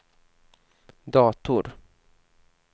dator